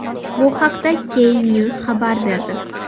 Bu haqda Knews xabar berdi .